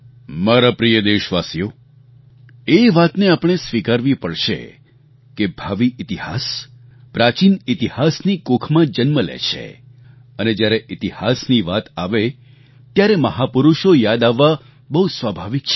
મારા પ્રિય દેશવાસીઓ એ વાતને આપણે સ્વીકારવી પડશે કે ભાવિ ઇતિહાસ પ્રાચીન ઇતિહાસની કુખમાં જન્મ લે છે અને જ્યારે ઇતિહાસની વાત આવે ત્યારે મહાપુરુષો યાદ આવવા બહુ સ્વાભાવિક છે